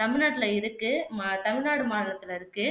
தமிழ்நாட்டுல இருக்கு ம தமிழ்நாடு மாநிலத்துல இருக்கு